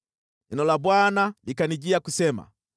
Neno la Bwana likanijia kusema: